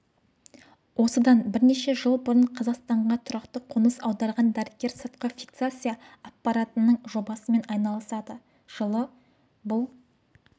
осыдан бірнеше жыл бұрын қазақстанға тұрақты қоныс аударған дәрігер сыртқы фиксация аппаратының жобасымен айналысады жылы бұл